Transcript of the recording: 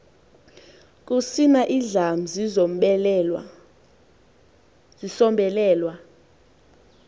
kusina indlam zisombelelwa